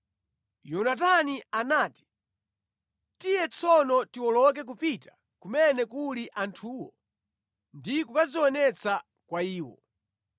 Yonatani anati, “Tiye tsono tiwoloke kupita kumene kuli anthuwo ndi kukadzionetsa kwa iwo.